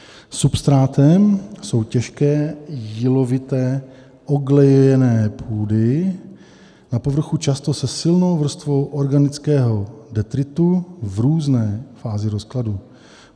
Substrátem jsou těžké jílovité oglejené půdy, na povrchu často se silnou vrstvou organického detritu v různé fázi rozkladu.